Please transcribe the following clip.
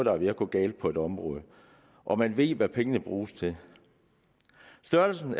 er ved at gå galt på et område og man ved hvad pengene bliver brugt til størrelsen